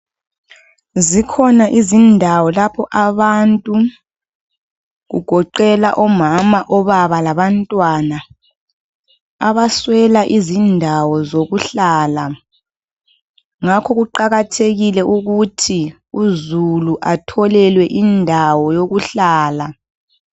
Zikhona izindawo lapho abantu kugoqelwa omama ababa labantwana abaswela izindawo zokuhlala ngakho kuqakathekile ukuthi uzulu atholelwe indawo yokuhlala